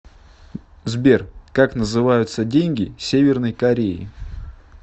сбер как называются деньги северной кореи